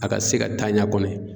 A ka se ka taa ɲa kɔni